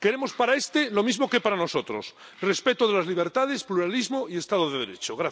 Queremos para este lo mismo que para nosotros respeto de las libertades, pluralismo y Estado de Derecho.